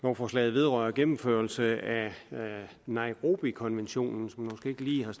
lovforslaget vedrører gennemførelse af nairobikonventionen